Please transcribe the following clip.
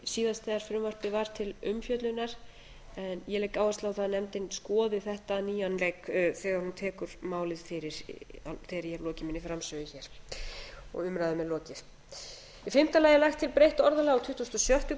síðast þegar frumvarpið var til umfjöllunar en ég legg áherslu á það að nefndin skoði þetta á nýjan leik þegar hún tekur árið fyrir þegar ég hef lokið minni framsögu hér og umræðunni er lokið í fimmta lagi er lagt til breytt orðalag á tuttugustu og sjöttu